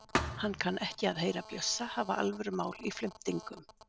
Hann kann ekki við að heyra Bjössa hafa alvörumál í flimtingum.